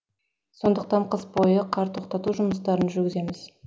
сондықтан қыс бойы қар тоқтату жұмыстарын жүргіземіз